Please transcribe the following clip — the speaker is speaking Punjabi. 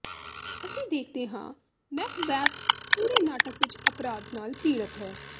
ਅਸੀਂ ਦੇਖਦੇ ਹਾਂ ਮੈਕਬੈਥ ਪੂਰੇ ਨਾਟਕ ਵਿੱਚ ਅਪਰਾਧ ਨਾਲ ਪੀੜਤ ਹੈ